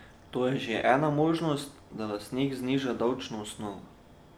To je že ena možnost, da lastnik zniža davčno osnovo.